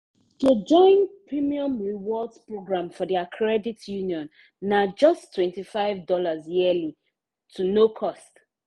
to join premium rewards program for their credit union na justtwenty five dollarsyearly—no too cost.